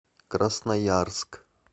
красноярск